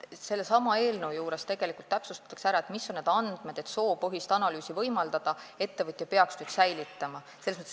Sellesama eelnõuga tegelikult täpsustatakse, mis on need andmed, mida ettevõte peaks nüüd säilitama, et soopõhist analüüsi võimaldada.